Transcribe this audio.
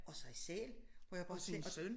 Og sig selv hvor jeg bare tænker